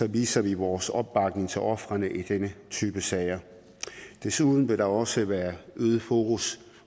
viser vi vores opbakning til ofrene i denne type sager og desuden vil der også være øget fokus